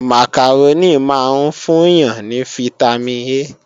Màkàrónì máa ń fún yàn ní fítámìn A